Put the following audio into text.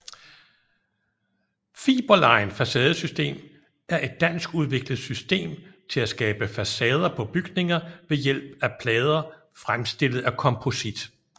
Fiberline facadesystem er et danskudviklet system til at skabe facader på bygninger ved hjælp af plader fremstillet af komposit